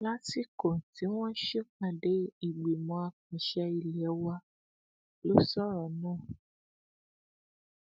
lásìkò tí wọn ń ṣèpàdé ìgbìmọ àpasẹ ilé wa ló sọrọ náà